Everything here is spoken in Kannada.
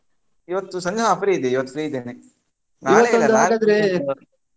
ಇವತ್ತು ಸಂಜೆ ನಾನು free ಇದ್ದೇ, ನಾ free ಇದ್ದೇನೆ. ಹಾಗಾದ್ರೆ.